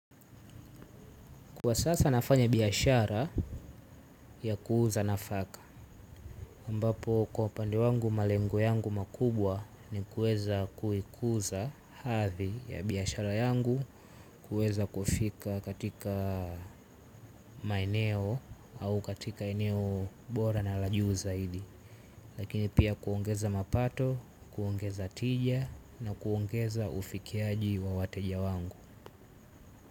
Kwa sasa nafanya biashara ya kuuza nafaka ambapo kwa upande wangu malengo yangu makubwa ni kuweza kuikuza hathi ya biashara yangu. Kuweza kufika katika maeneo au katika eneo bora na lajuu zaidi. Lakini pia kuongeza mapato, kuongeza tija na kuongeza ufikiaji wa wateja wangu.